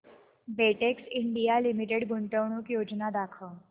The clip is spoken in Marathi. बेटेक्स इंडिया लिमिटेड गुंतवणूक योजना दाखव